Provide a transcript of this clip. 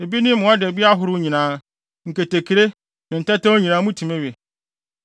Ebi ne mmoadabi ahorow nyinaa, nketekre, ne tɛwtɛw nyinaa mutumi we.